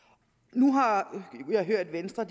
nu har jeg hørt venstre